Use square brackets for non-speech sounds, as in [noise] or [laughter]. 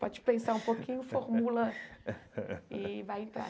Pode pensar um pouquinho, [laughs] formula e vai entrar.